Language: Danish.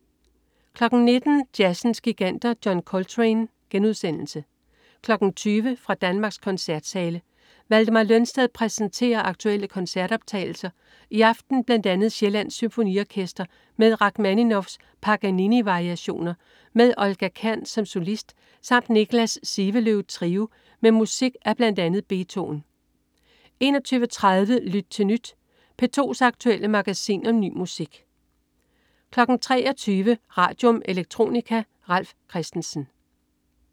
19.00 Jazzens Giganter. John Coltrane* 20.00 Fra Danmarks koncertsale. Valdemar Lønsted præsenterer aktuelle koncertoptagelser, i aften bl. a. Sjællands Symfoniorkester med Rakhmaninovs Paganini-variationer med Olga Kern som solist samt Niklas Sivelöv Trio med musik af bl.a. Beethoven 21.30 Lyt til Nyt. P2's aktuelle magasin om ny musik 23.00 Radium. Electronica. Ralf Christensen